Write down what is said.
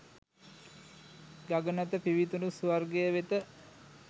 ගගනත පිවිතුරු ස්වර්ගය වෙත